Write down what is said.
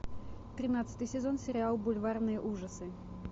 тринадцатый сезон сериал бульварные ужасы